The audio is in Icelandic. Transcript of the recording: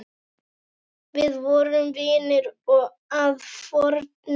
Við vorum vinir að fornu.